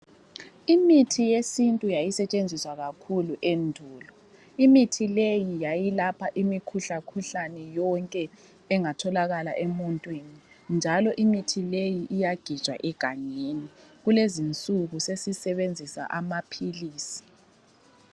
Imithi yesintu yayisetshenziswa kakhulu endulo. Imithi leyi yayilapha imikhuhlakhuhlane yonke engatholakala emuntwini njalo imithi leyi iyagejwa egangeni, kulezinsuku sesisebenzisa amaphilisi.